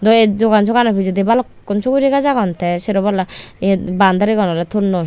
te iyot dogon soh gano pijedi balukkun suguri gajch agon te sero palla yet boundarigun oley tonnoi.